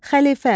Xəlifə.